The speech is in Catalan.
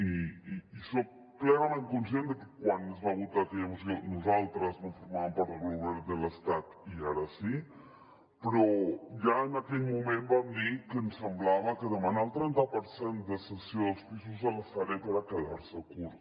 i soc plenament conscient de que quan es va votar aquella moció nosaltres no formaven part del govern de l’estat i ara sí però ja en aquell moment vam dir que ens semblava que demanar el trenta per cent de cessió dels pisos de la sareb era quedar se curt